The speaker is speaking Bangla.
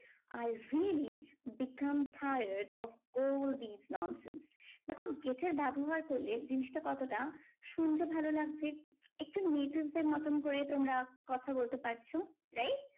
I really become tired of all this nonsense. দেখো get এর ব্যবহার করলে জিনিসটা কতটা শুনতে ভালো লাগছে? একটু natives দের মতন করে তোমরা কথা বলতে পারছো। wright?